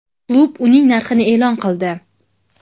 Klub uning narxini e’lon qildi.